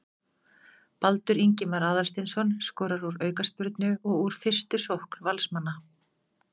Baldur Ingimar Aðalsteinsson skorar úr aukaspyrnu og úr fyrstu sókn Valsmanna.